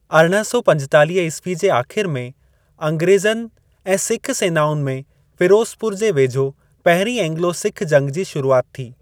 अरिड़हं सौ पंजेतालीह ईस्वी जे आख़िरि में, अंग्रेज़नि ऐं सिख सेनाउनि में फ़िरोज़पुर जे वेझो, पहिरीं एंग्लो सिख जंग जी शुरूआति थी।